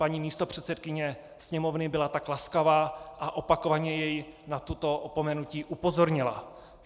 Paní místopředsedkyně Sněmovny byla tak laskavá a opakovaně jej na toto opomenutí upozornila.